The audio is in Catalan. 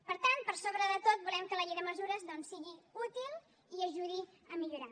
per tant per sobre de tot volem que la llei de mesures doncs sigui útil i ajudi a millorar